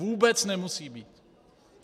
Vůbec nemusí být!